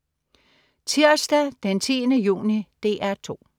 Tirsdag den 10. juni - DR 2: